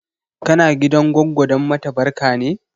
Kana gidan goggo don mata barka ne?